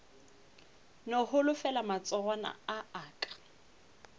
no holofela matsogwana a aka